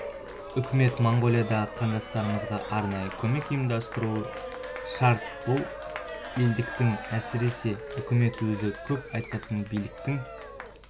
үкімет моңғолиядағы қандастарымызға арнайы көмек ұйымдастыруы шарт бұл елдіктің әсіресе үкімет өзі көп айтатын бірліктің